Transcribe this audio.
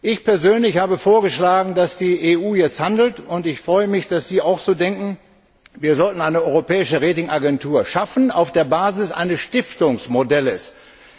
Ich persönlich habe vorgeschlagen, dass die EU jetzt handeln soll, und ich freue mich, dass Sie auch so denken. Wir sollten eine europäische Rating Agentur auf der Basis eines Stiftungsmodells schaffen.